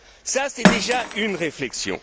Ça, c'est déjà une réflexion.